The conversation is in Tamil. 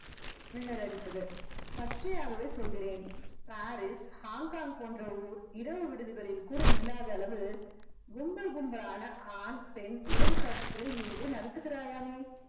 மின்னலடித்தது பச்சையாகவே சொல்கிறேன் பாரிஸ் ஹாங்காங் போன்ற ஊர் இரவு விடுதிகளில் கூட இல்லாத அளவு கும்பல் கும்பலான ஆண் பெண் உறவு காட்சிகளை நீ இங்கு நடத்துகிறாயாமே